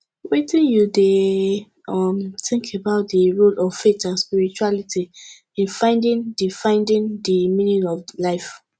wetin you dey um think about di role of faith and spirituality in finding di finding di meaning of life